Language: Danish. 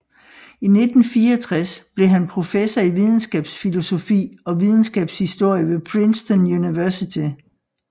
I 1964 blev han professor i videnskabsfilosofi og videnskabshistorie ved Princeton University